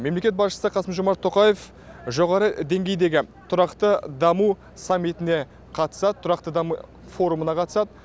мемлекет басшысы қасым жомарт тоқаев жоғары деңгейдегі тұрақты даму саммитіне қатысады тұрақты даму форумына қатысады